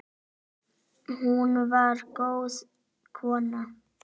Hún var góð kona.